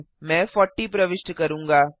मैं 40 प्रविष्ट करूंगा